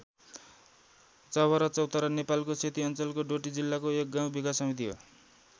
चवरा चौतारा नेपालको सेती अञ्चलको डोटी जिल्लाको एक गाउँ विकास समिति हो।